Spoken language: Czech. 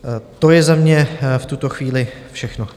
To je za mě v tuto chvíli všechno.